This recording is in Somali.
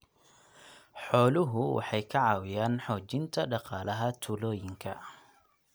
Xooluhu waxay ka caawiyaan xoojinta dhaqaalaha tuulooyinka.